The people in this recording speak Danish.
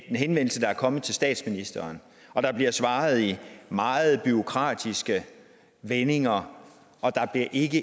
en henvendelse der er kommet til statsministeren og der bliver svaret i meget bureaukratiske vendinger og der bliver ikke